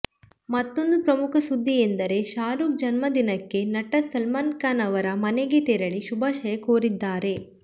ಮತ್ತೊಂದು ಪ್ರಮುಖ ಸುದ್ದಿ ಎಂದರೆ ಶಾರುಖ್ ಜನ್ಮ ದಿನಕ್ಕೆ ನಟ ಸಲ್ಮಾನ್ ಖಾನ್ ಅವರ ಮನೆಗೇ ತೆರಳಿ ಶುಭಾಶಯ ಕೋರಿದ್ದಾರೆ